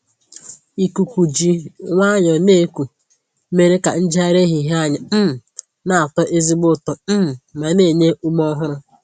Ikuku ji nwayọọ na-eku mere ka njegharị ehihie anyị um na-atọ ezigbo ụtọ um ma na-enye ume ọhụrụ.